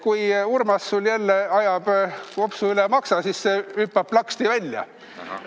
Kui Urmas sul jälle ajab kopsu üle maksa, siis see hüppab plaksti välja.